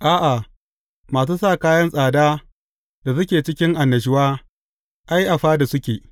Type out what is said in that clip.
A’a, masu sa kayan tsada da suke cikin annashuwa, ai, a fada suke.